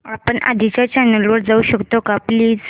आपण आधीच्या चॅनल वर जाऊ शकतो का प्लीज